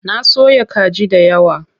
Na soya kaji dayawa.